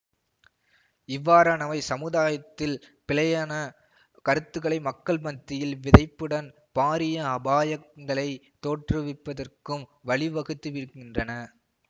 இவ்வாறானவை சமுதாயத்தில் பிழையான கருத்துக்களை மக்கள் மத்தியில் விதைப்புடன் பாரிய அபாயங்களை தோற்றுவிப்பதற்கும் வழி வகுத்து விடுகின்றன